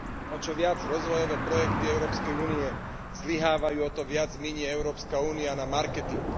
O čo viac rozvojové projekty Európskej únie zlyhávajú, o to viac minie Európska únia na marketing.